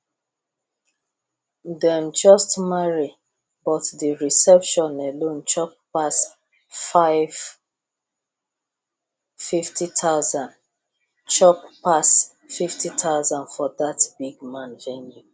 dem just marry but the reception alone chop pass 50000 chop pass 50000 for that big man venue